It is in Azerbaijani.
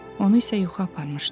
Onu isə yuxu aparmışdı.